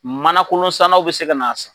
Manakolon sannanw bɛ se ka na san